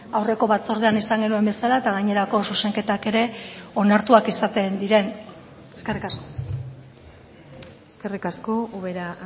aurreko batzordean izan genuen bezala eta gainerako zuzenketak ere onartuak izaten diren eskerrik asko eskerrik asko ubera